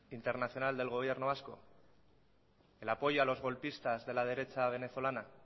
internacional del gobierno vasco el apoyo a los golpistas de la derecha venezolana